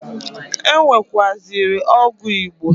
E nwekwuaziri ọgwụ Igbo.